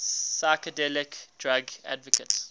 psychedelic drug advocates